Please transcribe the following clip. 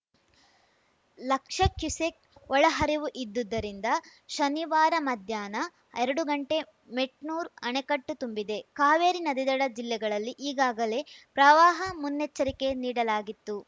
lakh cusec ಒಳಹರಿವು ಇದ್ದಿದ್ದುದರಿಂದ ಶನಿವಾರ ಮಧ್ಯಾಹ್ನಎರಡು ಗಂಟೆ ಮೆಟ್ನೂರು ಅಣೆಕಟ್ಟು ತುಂಬಿದೆ ಕಾವೇರಿ ನದಿದಡ ಜಿಲ್ಲೆಗಳಲ್ಲಿ ಈಗಾಗಲೇ ಪ್ರವಾಹ ಮುನ್ನೆಚ್ಚರಿಕೆ ನೀಡಲಾಗಿತ್ತು